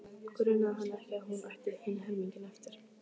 Grunaði hann ekki að hún ætti hinn helminginn eftir?